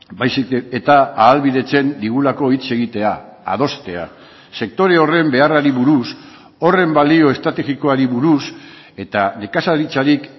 baizik eta ahalbidetzen digulako hitz egitea adostea sektore horren beharrari buruz horren balio estrategikoari buruz eta nekazaritzarik